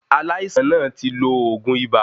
Aláìsàn náà tí lo oògùn ibà